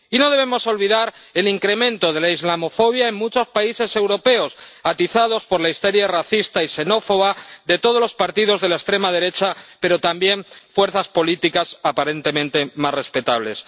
Y no debemos olvidar el incremento de la islamofobia en muchos países europeos, atizados por la histeria racista y xenófoba de todos los partidos de la extrema derecha, pero también de fuerzas políticas aparentemente más respetables.